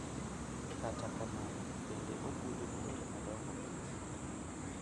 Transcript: Kata kamano, bende opuonjo ji yore madongo mag ngima,